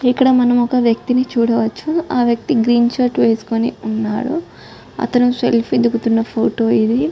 ఇక్కడ మనం ఒక వ్యక్తిని చూడవచ్చు ఆ వ్యక్తి గ్రీన్ షర్ట్ వేసుకొని ఉన్నాడు అతను సెల్ఫీ దిగుతున్న ఫోటో ఇది.